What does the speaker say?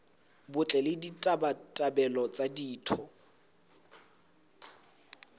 botle le ditabatabelo tsa ditho